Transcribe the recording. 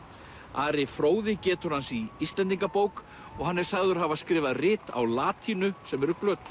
Ari fróði getur hans í Íslendingabók og hann er sagður hafa skrifað rit á latínu sem eru glötuð